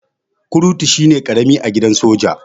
Kurtu shine karami a gidan soja.